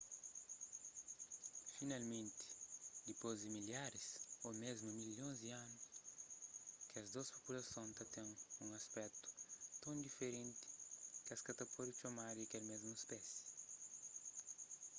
finalmenti dipôs di milharis ô mésmu milhons di anus kes dôs populason ta ten un aspetu ton diferenti ki es ka ta pode txomadu kel mésmu spési